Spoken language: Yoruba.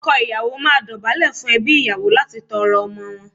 Ọkọ ìyàwó máa dọ̀bálẹ̀ fún ẹbí ìyàwó láti tọrọ ọmọ wọn.